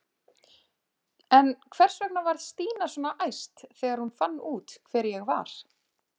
En hvers vegna varð Stína svona æst þegar hún fann út hver ég var?